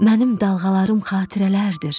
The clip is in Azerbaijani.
Mənim dalğalarım xatirələrdir,